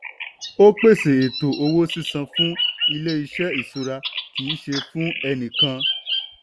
ó pèsè ètò owó sísan fún ilé iṣẹ́ ìṣúra kì í ṣe fún ẹni kàn.